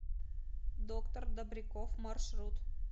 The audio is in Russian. доктор добряков маршрут